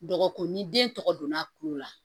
Dɔgɔkun ni den tɔgɔ donna kulo la